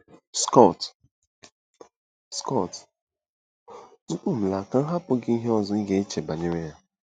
Scott Scott: Tupu m laa, ka m hapụ gị ihe ọzọ ị ga-eche banyere ya.